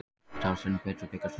Starfsemi Bitru byggist á trausti